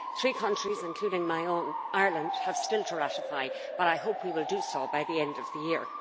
Three countries including my own, Ireland, have still to ratify, but I hope we will do so by the end of the year.